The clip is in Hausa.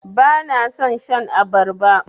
Bana son shan abarba.